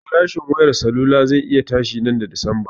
Farashin wayar salula ze iya tashi nan da watan dismba